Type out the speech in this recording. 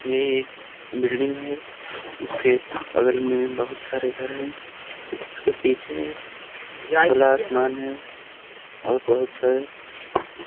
ये एक बिल्डिंग है उसके बगल मे बहुत सारे घर है इसके पीछे खुला आसमान है और बहुत सारे--